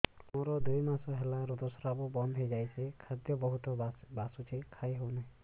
ମୋର ଦୁଇ ମାସ ହେଲା ଋତୁ ସ୍ରାବ ବନ୍ଦ ହେଇଯାଇଛି ଖାଦ୍ୟ ବହୁତ ବାସୁଛି ଖାଇ ହଉ ନାହିଁ